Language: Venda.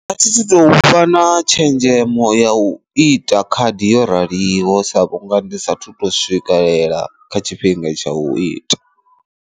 Dza ufha na tshenzhemo ya u ita khadi yo raliho sa vhunga ndi sathu to swikelela kha tshifhinga tsha u ita.